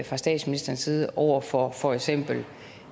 fra statsministerens side over for for eksempel